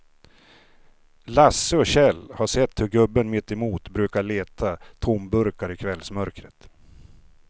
Lasse och Kjell har sett hur gubben mittemot brukar leta tomburkar i kvällsmörkret.